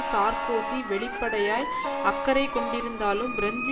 Sarkozy வெளிப்படையாய் அக்கறை கொண்டிருந்தாலும் பிரெஞ்சு